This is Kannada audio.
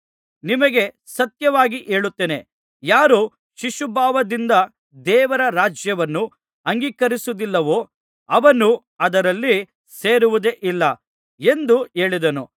ನಿಮಗೆ ಸತ್ಯವಾಗಿ ಹೇಳುತ್ತೇನೆ ಯಾರು ಶಿಶುಭಾವದಿಂದ ದೇವರ ರಾಜ್ಯವನ್ನು ಅಂಗೀಕರಿಸುವುದಿಲ್ಲವೋ ಅವನು ಅದರಲ್ಲಿ ಸೇರುವುದೇ ಇಲ್ಲ ಎಂದು ಹೇಳಿದನು